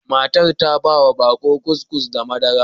Matar ta ba wa baƙo kukis da madara.